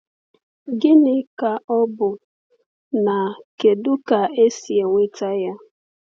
Gịnị ka ọ bụ, na kedu ka e si enweta ya?